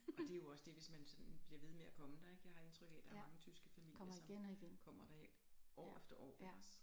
Og det jo også det hvis man sådan bliver ved med at komme der ikke jeg har et indtryk af der er mange tyske familier som kommer der år efter år iggås